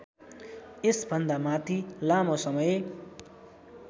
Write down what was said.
यसभन्दामाथि लामो समय